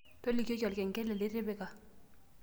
tolikioki olkengele litipika